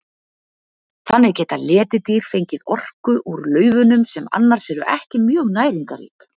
Þannig geta letidýr fengið orku úr laufunum sem annars eru ekki mjög næringarrík.